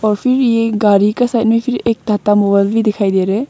और फिर ये गाड़ी का साइड में फिर एक भी दिखाई दे रहे।